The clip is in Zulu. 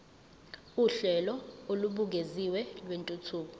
uhlelo olubukeziwe lwentuthuko